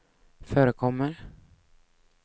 förekommer